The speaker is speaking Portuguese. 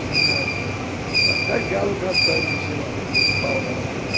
Tinha até galo cantando em cima do do pau lá na frente.